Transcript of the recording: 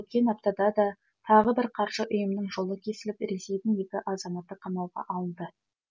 өткен аптада да тағы бір қаржы ұйымының жолы кесіліп ресейдің екі азаматы қамауға алынды